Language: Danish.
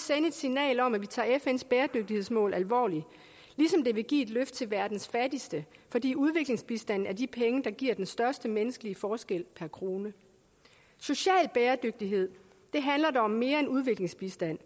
signal om at vi tager fns bæredygtighedsmål alvorligt ligesom det vil give et løft til verdens fattigste fordi udviklingsbistanden er de penge der giver den største menneskelige forskel per krone social bæredygtighed handler om mere end udviklingsbistand